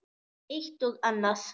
Eitt og annað.